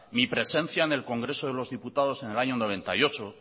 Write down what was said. mi presencia en el congreso de los diputados en el año noventa y ocho